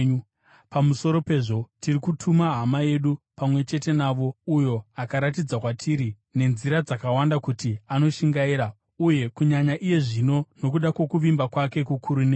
Pamusoro pezvo, tiri kutuma hama yedu pamwe chete navo uyo akaratidza kwatiri nenzira dzakawanda kuti anoshingaira, uye kunyanya iye zvino nokuda kwokuvimba kwake kukuru nemi.